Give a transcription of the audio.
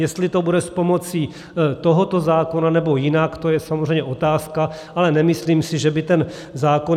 Jestli to bude s pomocí tohoto zákona, nebo jinak, to je samozřejmě otázka, ale nemyslím si, že by ten zákon...